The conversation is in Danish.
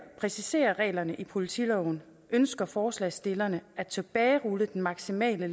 præciseret reglerne i politiloven ønsker forslagsstillerne at tilbagerulle den maksimale